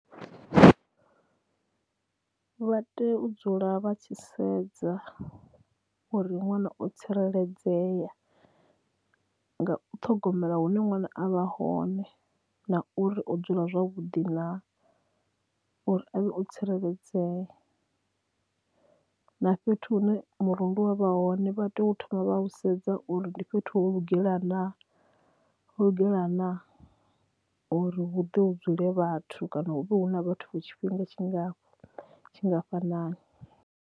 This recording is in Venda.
Vha tea u dzula vha tshi sedza uri ṅwana o tsireledzea nga u ṱhogomela hune ṅwana a vha hone na uri o dzula zwavhuḓi na uri avhe u tsireledzea na fhethu hune murundu wa vha hone vha tea u thoma vha u sedza uri ndi fhethu ho lugela na lugela na uri hu ḓe hu dzule vhathu kana hu vhe hu na vhathu for tshifhinga tshingafhanani.